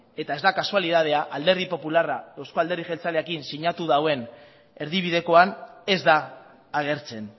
eta ez da kasualitatea alderdi popularra euzko alderdi jeltzalearekin sinatu duen erdibidekoan ez da agertzen